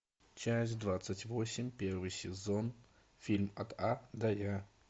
часть двадцать восемь первый сезон фильм от а до я